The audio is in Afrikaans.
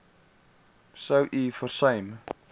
sou u versuim